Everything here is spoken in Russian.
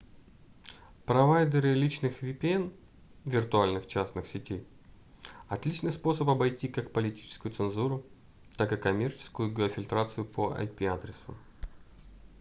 провайдеры личных vpn виртуальных частных сетей — отличный способ обойти как политическую цензуру так и коммерческую геофильтрацию по ip-адресу